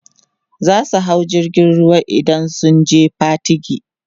zasu hau jirgin ruwa idan zasu je Patigi